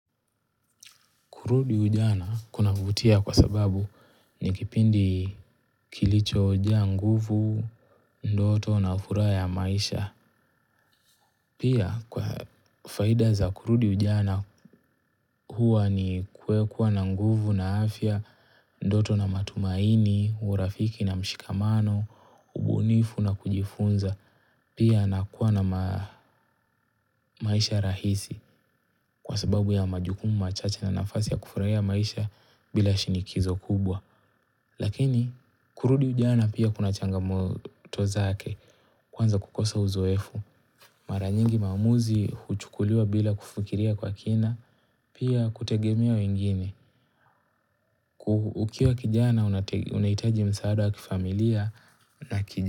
Kurudi ujana kunavutia kwa sababu ni kipindi kilichojaa nguvu, ndoto na furaha ya maisha. Pia kwa faida za kurudi ujana huwa ni kuwa na nguvu na afya, ndoto na matumaini, urafiki na mshikamano, ubunifu na kujifunza. Pia na kuwa na maisha rahisi kwa sababu ya majukumu machache na nafasi ya kufurahia maisha bila shinikizo kubwa. Lakini kurudi ujana pia kuna changamoto zake kwanza kukosa uzoefu. Mara nyingi maamuzi huchukuliwa bila kufikiria kwa kina pia kutegemea wengine. Ukiwa kijana unahitaji msaada wa kifamilia na kijana.